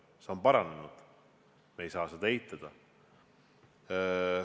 See on paranenud, me ei saa seda eitada.